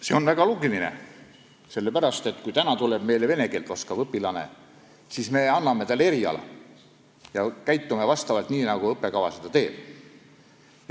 See on väga loogiline, sest kui meile tuleb vene keelt oskav õpilane, siis me õpetame talle eriala ja käitume nii, nagu õppekava seda ette näeb.